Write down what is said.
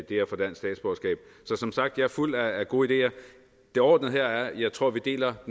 det at få dansk statsborgerskab så som sagt jeg er fuld af gode ideer det overordnede her er at jeg tror vi deler